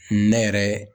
Ne yɛrɛ